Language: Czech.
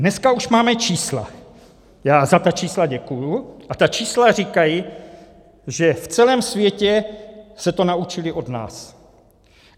Dneska už máme čísla, já za ta čísla děkuji, a ta čísla říkají, že v celém světě se to naučili od nás.